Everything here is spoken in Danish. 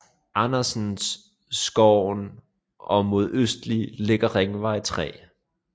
Andersen Skoven og mod øst ligger Ringvej 3